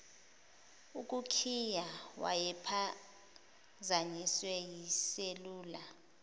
ukukhiya wayephazanyiswe yiselula